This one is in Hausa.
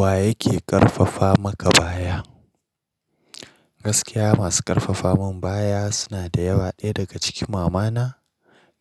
Wa yake ƙarfafa maka baya? Gaskiya masu ƙarfafa min baya suna da yawa, ɗaya daga ciki mamana,